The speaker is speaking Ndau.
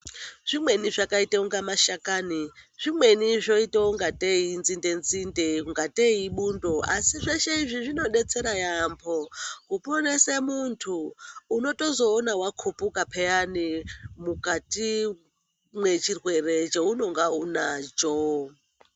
Zvimweni zvakaita kunga mashakani zvimweni zvoito ngatei inzinde nzinde kungatei ibundo asi zveshe izvi zvinobetsere muntu unozotoona wakupuka peyani mukati mwechirwere chounenge unacho .